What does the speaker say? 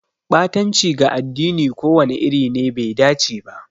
Ɓatanci ga addini ko wani iri ne bai dace ba.